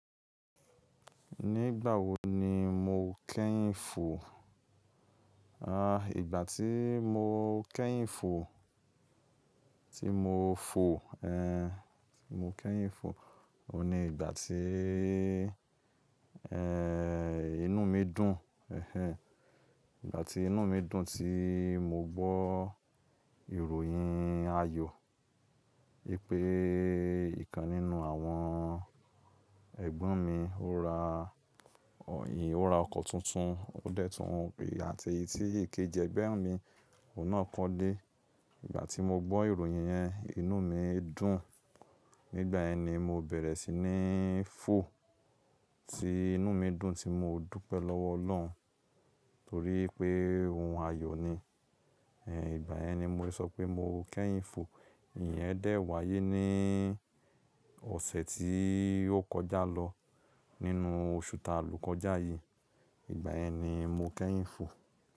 Nígbà wo ni mo kẹ́yìn fò? Àh, ìgbà tí mo kẹ́yìn fò, tí mo fò, ẹh, tí mo kẹ́yìn fò, òun ni ìgbà tí, ẹh ẹh, inú mi dùn, ẹh ẹh, ìgbà tí inú mi dùn tí mo gbọ́ ìròyìn ayọ̀, wípé ìkan nínú àwọn ẹ̀gbọ́n mi ó ra Òyìn, ó ra ọkọ̀ tuntun, ó dẹ́tun pé àti tí ikéji ẹgbẹ́ mi, òun náà kọ́lé. Ìgbà tí mo gbọ́ ìròyìn yẹn, inú mi dùn. Nígbà yẹn ni mo bẹ̀rẹ̀ sí ní fò, tí inú mi dùn tí mo dúpẹ́ lọ́wọ́ Ọlọ́run torí pé ohun ayọ̀ ni. Ẹh, ìgbà yẹn ni mo sọ pé mo kẹ́yìn fò. Ìyẹn dẹ́ wáyé ní ọ̀sẹ̀ tí ó kọjá lọ nínú oṣù ta lò kọjá yìí. Ìgbà yẹn ni mo kẹ́yìn fò.